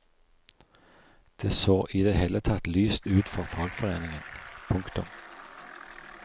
Det så i det hele tatt lyst ut for fagforeningen. punktum